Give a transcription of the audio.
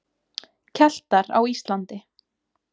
Keltar á Íslandi.